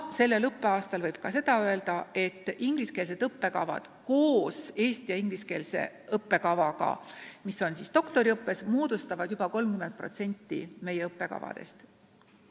Sellel õppeaastal võib öelda ka seda, et ingliskeelsed õppekavad koos eesti- ja ingliskeelse õppekavaga, mis on siis doktoriõppes, moodustavad juba 30% meie õppekavadest.